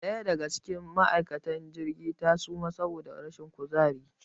Ɗaya daga cikin ma' aikatan cikin jirgi ta suma saboda rashin kuzari